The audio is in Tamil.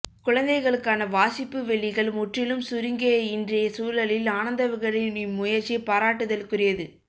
குழந்தைகளுக்கான வாசிப்பு வெளிகள் முற்றிலும் சுருங்கிய இன்றைய சூழலில் ஆனந்த விகடனின் இம்முயற்சி பாராட்டுதலுக்குரியது